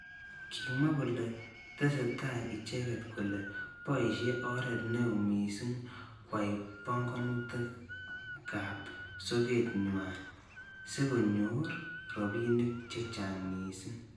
Kimwa kole tesetai icheket kole boishe oret neo missing kwai panganutik ab soket nywa sikonyor robinik chechang missing.